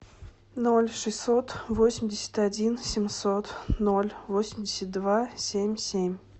ноль шестьсот восемьдесят один семьсот ноль восемьдесят два семь семь